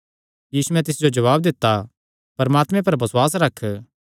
यीशुयैं तिस जो जवाब दित्ता परमात्मे पर बसुआस रख